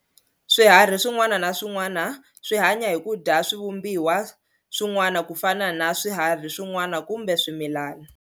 Swiharhi swin'wana na swin'wana swi hanya hi kudya swi vumbiwa swi'wana kufana na swiharhi swin'wana kumbe swimilana.